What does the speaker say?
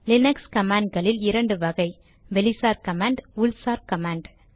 Linux command களில் இரண்டு வகை வெளிசார் கமாண்ட் உள்சார் கமாண்ட்